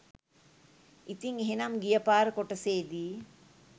ඉතිං එහෙනම් ගියපාර කොටසේදී